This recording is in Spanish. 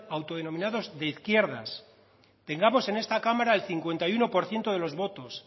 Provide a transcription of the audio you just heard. autodenominados de izquierdas tengamos en esta cámara el cincuenta y uno por ciento de los votos